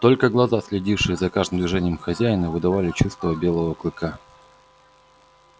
только глаза следившие за каждым движением хозяина выдавали чувства белого клыка